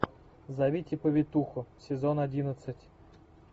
зовите повитуху сезон одиннадцать